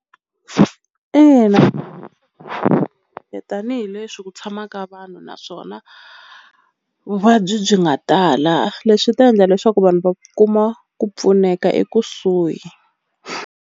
Ina tanihileswi ku tshama ka vanhu naswona vuvabyi byi nga tala leswi ta endla leswaku vanhu va kuma ku pfuneka ekusuhi.